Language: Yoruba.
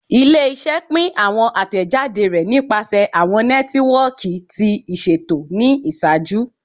Ile-iṣẹ pin awọn atẹjade rẹ nipasẹ awọn nẹtiwọọki ti iṣeto ni iṣaaju